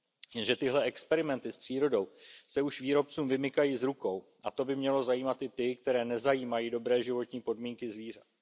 Jenže tyhle experimenty s přírodou se už výrobcům vymykají z rukou, a to by mělo zajímat i ty, které nezajímají dobré životní podmínky zvířat.